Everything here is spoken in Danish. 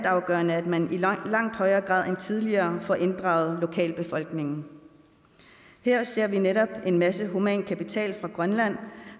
afgørende at man i langt højere grad end tidligere får inddraget lokalbefolkningen her ser vi netop en masse human kapital fra grønland